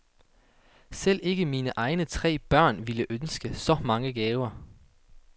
Selv ikke mine egne tre børn ville ønske så mange gaver.